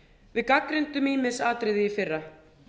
við gagnrýndum ýmis atriði í fyrra